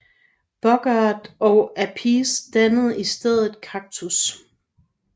Bogert og Appice dannede i stedet Cactus